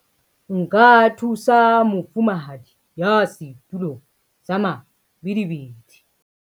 nka thusa mofumahadi ya setulong sa mabidi